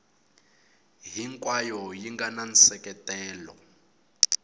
hinkwayo yi nga na nseketelo